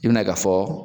I bina ye ka fɔ